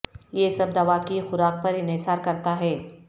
یہ سب دوا کی خوراک پر انحصار کرتا ہے